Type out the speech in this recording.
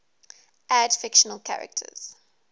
add fictional characters